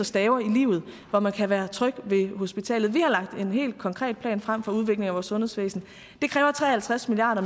staver i livet hvor man kan være tryg ved hospitalet vi har lagt en helt konkret plan frem for udviklingen af vores sundhedsvæsen det kræver tre og halvtreds milliard